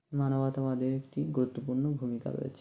মানবতাবাদের একটি গুরুত্বপূর্ণ ভূমিকা রয়েছে